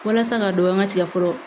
Walasa k'a dɔn an ga tigɛ fɔlɔ